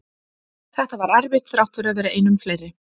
Þetta var erfitt þrátt fyrir að vera einum fleiri.